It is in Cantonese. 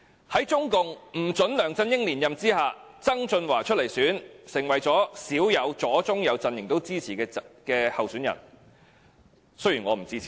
在中共不准梁振英連任之下，曾俊華出來參選，成為左、中、右陣營鮮有一致支持的候選人，雖然我不支持他。